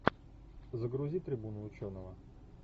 загрузи трибуну ученого